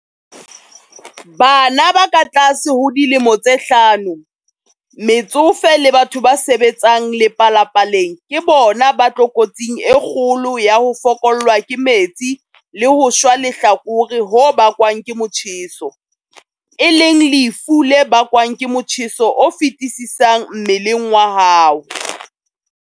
Bana ba katlase ho dilemo tse hlano, metsofe le batho ba sebetsang lepalapaleng ke bona ba tlokotsing e kgolo ya ho fokollwa ke metsi le ho shwa lehlakore ho bakwang ke motjheso, e leng lefu le bakwang ke motjheso o fetisisang mmeleng wa hao.